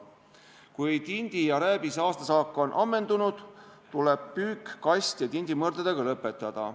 Kui tindi ja rääbise aastasaak on ammendunud, tuleb püük kast- ja tindimõrdadega lõpetada.